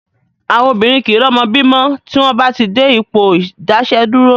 Àwọn obìnrin kìí rọ́mọ bí mọ́ tí wọ́n bá ti dé Ipò ìdáààsẹ̀dúró